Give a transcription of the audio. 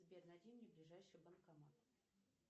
сбер найди мне ближайший банкомат